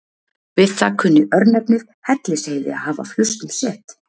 við það kunni örnefnið hellisheiði að hafa flust um set